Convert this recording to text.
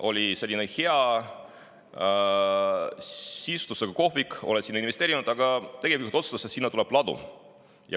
Oli selline hea sisustusega kohvik, sa oled sinna investeerinud, aga tegevjuht otsustas, et sinna tuleb ladu.